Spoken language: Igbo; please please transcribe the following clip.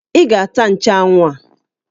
Ị ga-ata nchanwụ a!